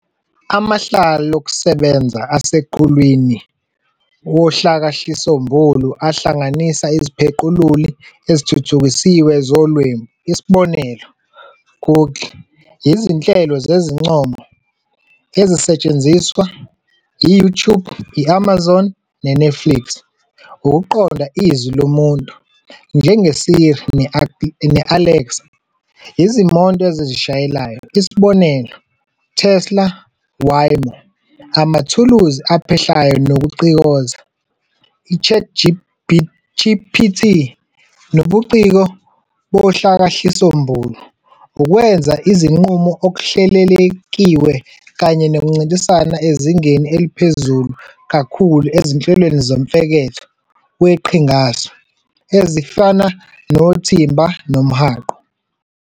Amahlelokusebenza aseqhulwini wohlakahlisombulu ahlanganisa iziphequluli ezithuthukisiwe zolwebu, isb., Google, izinhlelo zezincomo, ezisetshenziswa i- YouTube, i-Amazon ne- Netflix, ukuqonda izwi lomuntu, njenge- Siri ne- Alexa, izimoto ezizishayelayo, isb., Tesla, Waymo, amathuluzi aphehlayo nokucikoza, I-ChatGPT nobuciko bohlakakahlisombulu, ukwenza izinqumo okuhlelelekiwe kanye nokuncintisana ezingeni eliphezulu kakhulu ezinhlelweni zomfeketho weqhinga-su, ezifana noThimba nomHaqo.